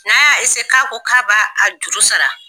N'a y'a k'a ko k'a b'a juru sara.